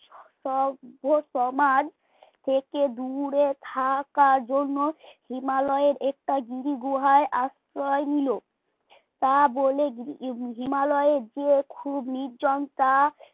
সভ্য সমাজ থেকে দূরে থাকার জন্য হিমালয়ের একটা গিরি গুহায় আশ্রয় নিল তা বলে হিমালয়ের যে খুব নির্জনতা